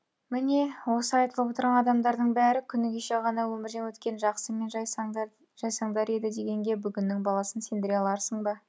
міне осы айтылып отырған адамдардың бәрі күні кеше ғана өмірден өткен жақсы мен жайсаңдар еді дегенге бүгінгінің баласын сендіре аларсың ба